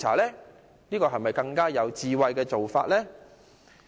這個會否是更有智慧的做法？